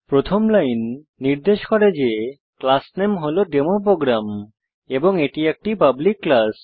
প্রথম লাইন নির্দেশ করে যে ক্লাস নেম হল ডেমোপ্রোগ্রাম এবং এটি একটি পাবলিক ক্লাস